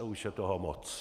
A už je toho moc.